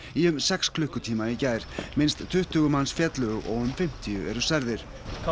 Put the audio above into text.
í um sex klukkutíma í gær minnst tuttugu manns féllu og um fimmtíu eru særðir